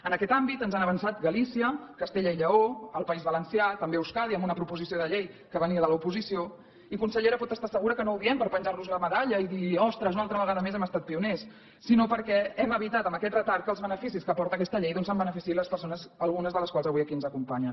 en aquest àmbit ens han avançat galícia castella i lleó el país valencià també euskadi amb una proposició de llei que venia de l’oposició i consellera pot estar segura que no ho diem per penjar nos una medalla i dir ostres una altra vegada més hem estat pioners sinó perquè hem evitat amb aquesta retard que dels beneficis que aporta aquesta llei doncs se’n beneficiïn les persones algunes de les quals avui aquí ens acompanyen